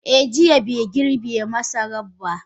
Eh, jiya bai girbe masara ba.